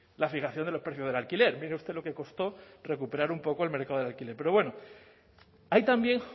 la fijación de los precios del alquiler mire usted lo que costó recuperar un poco el mercado de alquiler pero bueno hay también